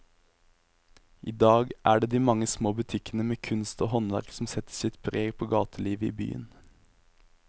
I dag er det de mange små butikkene med kunst og håndverk som setter sitt preg på gatelivet i byen.